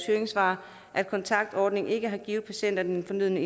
høringssvar at kontaktordningen ikke har givet patienterne den fornødne